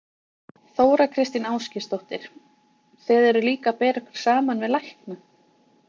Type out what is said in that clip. Þóra Kristín Ásgeirsdóttir: Þið eruð líka að bera ykkur saman við lækna?